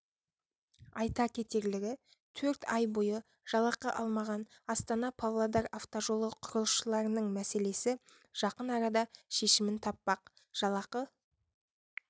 айта кетерлігі төрт ай бойы жалақы алмаған астана-павлодар автожолы құрылысшыларының мәселесі жақын арада шешімін таппақ жалақы